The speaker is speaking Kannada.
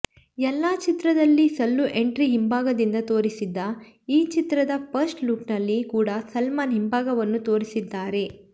ಎಲ್ಲಾ ಚಿತ್ರದಲ್ಲಿ ಸಲ್ಲು ಎಂಟ್ರಿ ಹಿಂಭಾಗದಿಂದ ತೋರಿಸಿದ್ದ ಈ ಚಿತ್ರದ ಫಸ್ಟ್ ಲುಕ್ ನಲ್ಲಿ ಕೂಡ ಸಲ್ಮಾನ್ ಹಿಂಭಾಗವನ್ನು ತೋರಿಸಿದ್ದಾರೆ